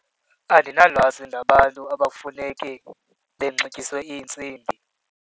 Andinalwazi nabantu abafuneke benxityiswe iintsimbi.